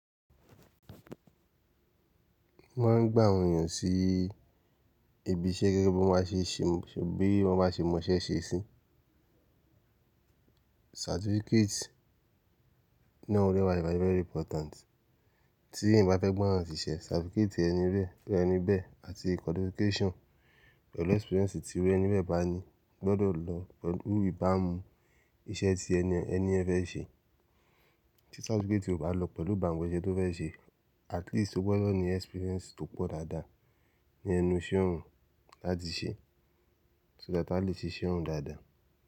Wọ́n máa ń gbá àwọn èèyàn sí ibi iṣẹ́ gẹ́gẹ́ bí wọ́n bá ṣe mọ̀ọ́ṣẹ́ ṣe sí. Certificate náà dẹ́ wà very very important. Tí ẹ̀yan bá fẹ́ gba'yan ṣìṣẹ́, certificate ẹni bẹ́ẹ̀ àti qualification pẹ̀lú experience tí iru ẹni bẹ́ẹ̀ bá ní gbọ́dọ̀ lọ pẹ̀lú ìbámu iṣẹ́ tí ẹni ẹ fẹ́ ṣe. Tí certificate ò bá lọ pẹ̀lú ìbámu iṣẹ́ tó fẹ́ ṣe, at least o gbọ́dọ̀ ní experience tó pọ̀ dáadáa ní ẹnu iṣẹ́ òun láti ṣe, so that a lè ṣe iṣẹ́ òun dáadáa.